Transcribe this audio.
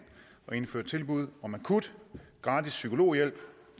at indføre tilbud om akut gratis psykologhjælp